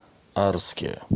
арске